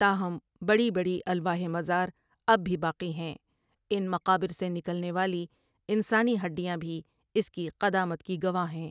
تاہم بڑی بڑی الواح مزار اب بھی باقی ہیں ان مقابر سے نکلنے والی انسانی ہڈیاں بھی اس کی قدامت کی گواہ ہیں۔